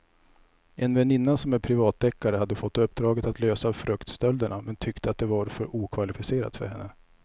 En väninna som är privatdeckare hade fått uppdraget att lösa fruktstölderna men tyckte att det var för okvalificerat för henne.